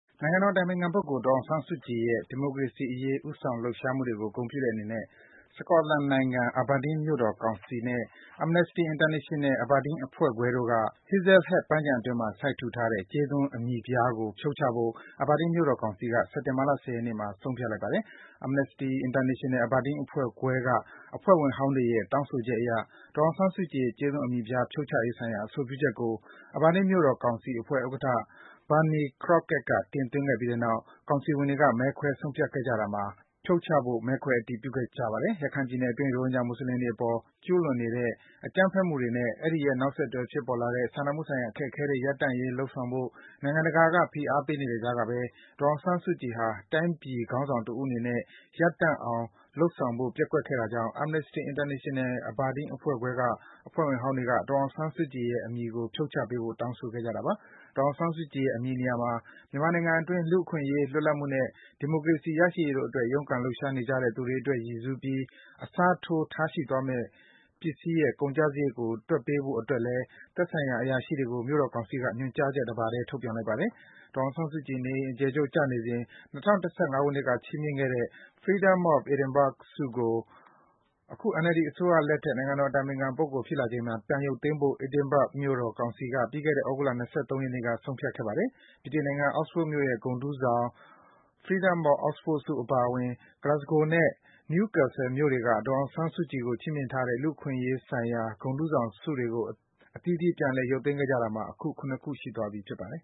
နိုင်ငံတော်အတိုင်ပင်ခံပုဂ္ဂိုလ် ဒေါ်အောင်ဆန်းစုကြည်ရဲ့ ဒီမိုကရေစီအရေး ဦးဆောင်လှုပ်ရှားမှုတွေကို ဂုဏ်ပြုတဲ့အနေနဲ့ Scotland နိုင်ငံ၊ Aberdeen မြို့တော်ကောင်စီနဲ့ Amnesty International – Aberdeen အဖွဲ့ခွဲတို့က Hazlehead ပန်းခြံအတွင်းမှာ စိုက်ထူထားတဲ့ ကြေးသွန်း အမည်ပြားကို ဖြုတ်ချဖို့ Aberdeen မြို့တော်ကောင်စီက စက်တင်ဘာလ ၁၀ ရက်နေ့မှာ ဆုံးဖြတ်လိုက်ပါတယ်။ Amnesty International – Aberdeen အဖွဲ့ခွဲက အဖွဲ့ဝင်ဟောင်းတွေရဲ့ တောင်းဆိုချက်အရ ဒေါ်အောင်ဆန်းစုကြည်ရဲ့ ကြေးသွန်း အမည်ပြား ဖြုတ်ချရေးဆိုင်ရာ အဆိုပြုချက်ကို Aberdeen မြို့တော်ကောင်စီအဖွဲ့ဥက္ကဋ္ဌ Barney Crockett က တင်သွင်းခဲ့ပြီးနောက် ကောင်စီဝင်တွေက မဲခွဲ ဆုံးဖြတ်ခဲ့ကြတာမှာ ကောင်စီဝင်တွေက ဖြုတ်ချဖို့ မဲခွဲ အတည်ပြုခဲ့ကြတာပါ။ ရခိုင်ပြည်နယ်အတွင်း ရိုဟင်ဂျာ မွတ်ဆလင်တွေအပေါ် ကျူးလွန်နေတဲ့ အကြမ်းဖက်မှုတွေ အဲဒီရဲ့ နောက်ဆက်တွဲ ဖြစ်ပေါ်လာတဲ့ စာနာမှုဆိုင်ရာ အခက်အခဲတွေ ရပ်တန့်ရေး လုပ်ဆောင်ဖို့ နိုင်ငံတကာက ဖိအားပေးနေတဲ့ကြားကပဲ ဒေါ်အောင်ဆန်းစုကြည်ဟာ တိုင်းပြည် ခေါင်းဆောင်တဦးအနေနဲ့ ရပ်တန့်အောင် လုပ်ဆောင်ဖို့ ပျက်ကွက်ခဲ့တာကြောင့် Amnesty International – Aberdeen အဖွဲ့ခွဲက အဖွဲ့ဝင်ဟောင်းတွေက ဒေါ်အောင်ဆန်းစုကြည်ရဲ့ နာမည်ကို ဖြုတ်ချပေးဖို့ တောင်းဆိုခဲ့ကြတာပါ။ ဒေါ်အောင်ဆန်းစုကြည်ရဲ့ အမည်နေရာမှာ မြန်မာနိုင်ငံအတွင်း လူ့အခွင့်အရေး၊ လွတ်လပ်မှုနဲ့ ဒီမိုကရေစီ ရရှိရေးတို့အတွက် ရုန်းကန်လှုပ်ရှားနေကြတဲ့ သူတွေအတွက် ရည်ရွယ်စူးပြီး အစားထိုး ထားရှိသွားမယ့် ပစ္စည်းရဲ့ ကုန်ကျစားရိတ်ကို တွက်ပေးဖို့အတွက်လည်း သက်ဆိုင်ရာ အရာရှိတွေကို မြို့တော်ကောင်စီက ညွန်ကြားချက် တပါတည်း ထုတ်ပြန်လိုက်ပါတယ်။ ဒေါ်အောင်ဆန်းစုကြည် နေအိမ်အကျယ်ချုပ် ကျနေစဉ် ၂၀၀၅ ခုနှစ်က ချီးမြှင့်ခံခဲ့ရတဲ့ Freedom of Edinburgh ဆုကို အခု NLD အစိုးရလက်ထက် နိုင်ငံတော်အတိုင်ပင်ခံပုဂ္ဂိုလ် ဖြစ်လာချိန်မှာ ပြန်ရုပ်သိမ်းဖို့ Edinburgh မြို့တော်ကောင်စီက ပြီးခဲ့တဲ့ သြဂုတ်လ ၂၃ ရက်နေ့က ဆုံးဖြတ်ခဲ့ပါတယ်။ ဗြိတိန် နိုင်ငံ Oxford မြို့ရဲ့ ဂုဏ်ထူးဆောင် Freedom of Oxford ဆု အပါအဝင် Glasgow နဲ့ Newcastle မြို့တွေက ဒေါ်အောင်ဆန်းစုကြည် ကို ချီးမြှင့်ထားတဲ့ လူ့အခွင့်အရေးဆိုင်ရာ ဂုဏ်ထူးဆောင်ဆု တွေကို အသီးသီး ပြန်ရုပ်သိမ်းခဲ့ကြတာမှာ ရှိသွားပြီ ဖြစ်ပါတယ်။